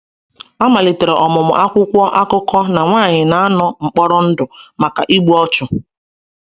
A malitere ọmụmụ akwụkwọ akụkọ na nwanyị na-anọ mkpọrọ ndụ maka igbu ọchụ.